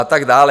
A tak dále.